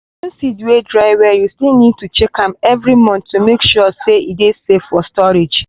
even seed wey dry well you still need check am every month to make sure say e ey safe for storage.